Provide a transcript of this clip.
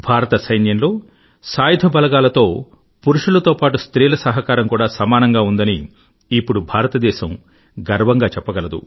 భారత సైన్యంలో సాయుధ బలగాలలో పురుష శక్తి తో పాటూ స్త్రీ శక్తి సహకారం కూడా సమానంగా ఉందని ఇప్పుడు భారతదేశం గర్వంగా చెప్పగలదు